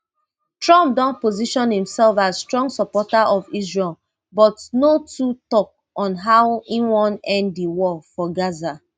trump don position imsef as strong supporter of israel but no too tok on how im wan end di war for gaza